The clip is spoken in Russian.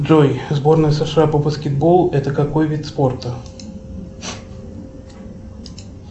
джой сборная сша по баскетболу это какой вид спорта